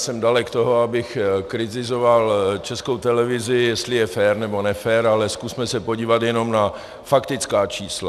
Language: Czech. Jsem dalek toho, abych kritizoval Českou televizi, jestli je fér nebo nefér, ale zkusme se podívat jenom na faktická čísla.